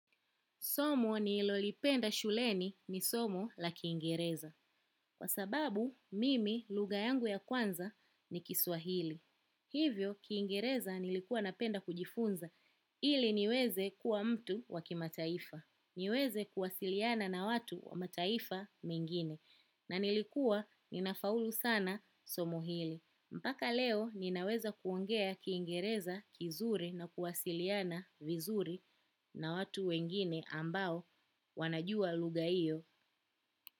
Somo nililopenda shuleni ni somo la kiingereza kwa sababu mimi lugha yangu ya kwanza ni Kiswahili. Hivyo, kiingereza nilikuwa napenda kujifunza. Ili niweze kuwa mtu wa kimataifa. Niweze kuwasiliana na watu wa mataifa mengine. Na nilikuwa ninafaulu sana somo hili. Mpaka leo ninaweza kuongea kiingereza kizuri na kuwasiliana vizuri na watu wengine ambao wanajua lugha hiyo.